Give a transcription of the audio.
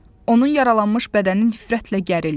Onun yaralanmış bədəni nifrətlə gərildi.